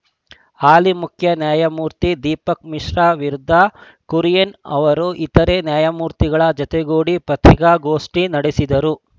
ಹಾಲಿ ಮುಖ್ಯ ನ್ಯಾಯಮೂರ್ತಿ ದೀಪಕ್‌ ಮಿಶ್ರಾ ವಿರುದ್ಧ ಕುರಿಯನ್‌ ಅವರು ಇತರೆ ನ್ಯಾಯಮೂರ್ತಿಗಳ ಜತೆಗೂಡಿ ಪತ್ರಿಕಾಗೋಷ್ಠಿ ನಡೆಸಿದರು